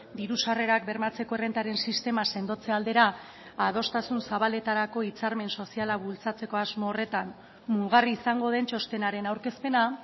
diru sarrerak bermatzeko errentaren sistema sendotze aldera adostasun zabaletarako hitzarmen soziala bultzatzeko asmo horretan mugarri izango den txostenaren aurkezpena